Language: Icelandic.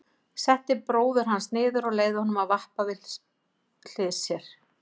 Setti bróður hans niður og leyfði honum að vappa við hlið sér.